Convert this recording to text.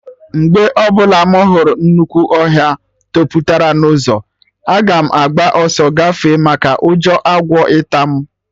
Mgbe ọbụla mụ hụrụ nnukwu ọhịa toputara n'ụzọ, aga m agba ọsọ gafee maka ụjọ agwọ ịta mụ